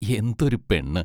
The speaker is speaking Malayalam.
എന്തൊരു പെണ്ണ്?